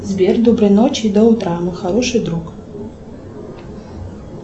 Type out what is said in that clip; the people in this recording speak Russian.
сбер доброй ночи до утра мой хороший друг